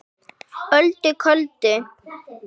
Öldu köldu